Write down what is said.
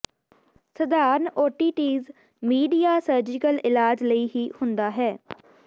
ਸਧਾਰਣ otitis media surgical ਇਲਾਜ ਲਈ ਹੀ ਹੁੰਦਾ ਹੈ